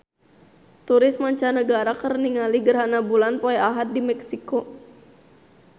Turis mancanagara keur ningali gerhana bulan poe Ahad di Meksiko